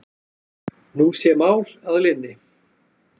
Nú sé mál að linni.